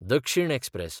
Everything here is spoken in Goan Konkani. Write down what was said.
दक्षीण एक्सप्रॅस